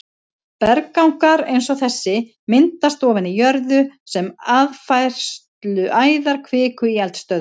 Berggangar eins og þessi myndast ofan í jörðu sem aðfærsluæðar kviku í eldstöðvum.